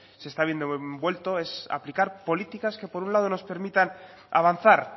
se está viendo envuelto es aplicar políticas que por un lado nos permitan avanzar